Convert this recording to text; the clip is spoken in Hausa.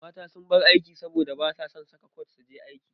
Mata sun bar aiki saboda basa son saka kwat suje aiki.